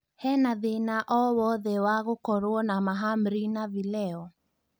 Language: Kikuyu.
hena thĩna o wothe wa gũkorwo na mahamri na vileo